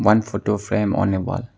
One photo frame on a wall.